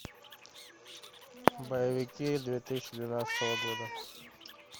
боевики две тысячи двенадцатого года